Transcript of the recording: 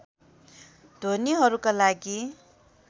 ध्वनिहरूका लागि